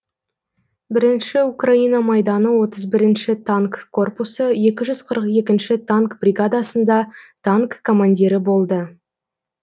бірінші украина майданы отыз бірінші танк корпусы екі жүз қырық екінші танк бригадасында танк командирі болды